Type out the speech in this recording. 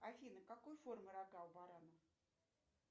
афина какой формы рога у барана